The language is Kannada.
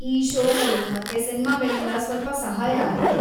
ಈ ಷೋಗಳು ಮತ್ತೆ ಸಿನ್ಮಾಗಳಿಂದ ಸ್ವಲ್ಪ ಸಹಾಯ ಆದೀತು.